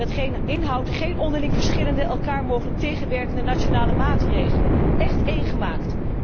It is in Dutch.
Dat houdt in geen onderling verschillende, elkaar mogelijk tegenwerkende nationale maatregelen, écht eengemaakt.